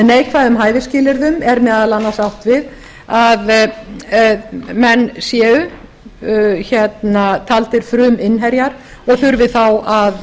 neikvæðum hæfisskilyrðum er meðal annars átt við að menn séu taldir fruminnherjar og þurfi þá að